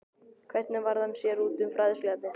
Hvernig varð hann sér úti um fræðsluefnið?